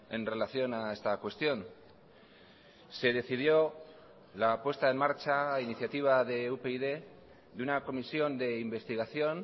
en relación a esta cuestión se decidió la puesta en marcha a iniciativa de upyd de una comisión de investigación